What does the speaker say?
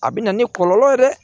A bɛ na ni kɔlɔlɔ ye dɛ